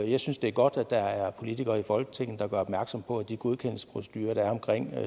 jeg synes det er godt at der er politikere i folketinget der gør opmærksom på at de godkendelsesprocedurer der er omkring